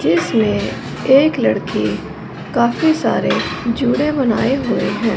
इसमें एक लड़की काफी सारे जुड़े बनाए हुए है।